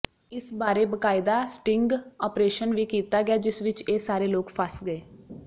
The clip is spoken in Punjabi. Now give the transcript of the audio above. ਇਸ ਬਾਰੇ ਬਕਾਇਦਾ ਸਟਿੰਗ ਅਪ੍ਰੇਸ਼ਨ ਵੀ ਕੀਤਾ ਗਿਆ ਜਿਸ ਵਿੱਚ ਇਹ ਸਾਰੇ ਲੋਕ ਫਸ ਗਏ